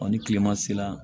ni tilema sera